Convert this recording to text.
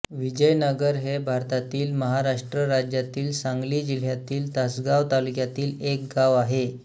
विजयनगर हे भारतातील महाराष्ट्र राज्यातील सांगली जिल्ह्यातील तासगांव तालुक्यातील एक गाव आहे